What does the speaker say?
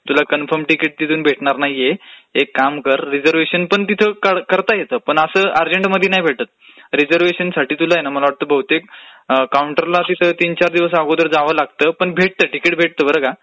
तुला confirm ticket भेटणार नाहीये. एक काम कर रिझर्वेशनपण तिथून करता येतं, पण असं अर्जंटमदी नाही भेटतं, रिझर्वेशनला तुला तीन चार दिवस आधी तिथे काउन्टरला जावचं लागत पण भेटतं तिकीट भेटतं बर का